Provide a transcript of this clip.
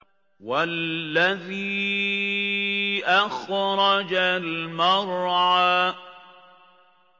وَالَّذِي أَخْرَجَ الْمَرْعَىٰ